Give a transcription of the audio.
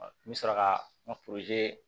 N bɛ sɔrɔ ka n ka